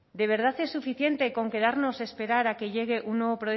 de verdad es suficiente con quedarnos a esperar a que llegue un nuevo